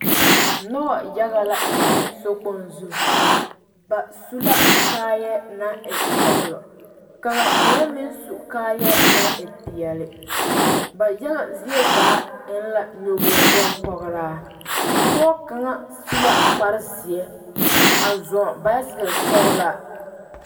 Noba yaga la kyɛnɛ sokpoŋ zu ba su la kaayɛ naŋ e sɔgelɔ ka ba mine meŋ su kaayɛ naŋ e peɛle ba yaga zie zaa e la nyɔboo bompɔgeraa pɔge kaŋ su la kpar zeɛ a zɔɔ baasakere sɔglaa